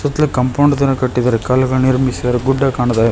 Compound ತರ ಕಟ್ಟಿದ್ದಾರೆ ಕಲ್ಲುಗಳನ್ನ ನಿರ್ಮಿಸಿದ್ದಾರೆ ಗುಡ್ಡ ಕಾಣ್ತಾ ಇದೆ.